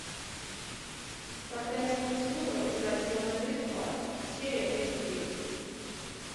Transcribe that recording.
проклятие мультивыбора превратило мою жизнь в ад серия тридцать девять